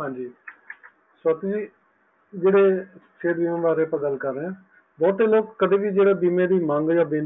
ਹਾਂਜੀ ਸਵਾਤੀ ਜੀ ਜਹੇੜੇ ਲੋਗ ਕਦੇ ਵੀ ਜੇਹੜੇ ਬੀਮੇ ਦੀ ਮੰਗ ਅਤੇ